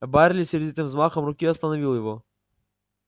байерли сердитым взмахом руки остановил его